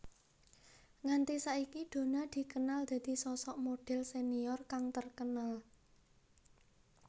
Nganti saiki Donna dikenal dadi sosok modhel senior kang terkenal